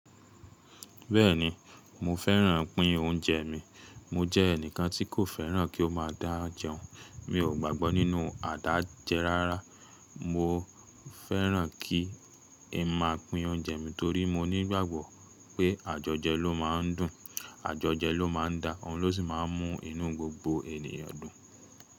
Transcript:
Bẹ́ẹ̀ni mo fẹ́ràn pín oúnjẹ mi. Mo jẹ́ ẹnìkan tí kò fẹ́ràn kí ó má a dá jẹun. Mi ò gbàgbọ́ nínú àdájẹ rárá. Mo fẹ́ràn kí i má a pín oúnjẹ mi torí mo nígbàgbọ́ pé àjọjẹ ló máa ń dùn, àjọjẹ ló má a da, òun ló sì máa ń mú inú gbogbo ènìyàn dùn.